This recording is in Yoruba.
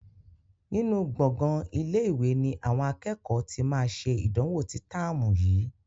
Nínú gbongan ilé-ìwé ni àwọn akẹ́kọ̀ọ́ tí máa ṣe ìdánwò ní táàmù yìí.